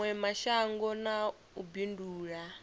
mawe mashango na u bindula